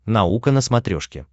наука на смотрешке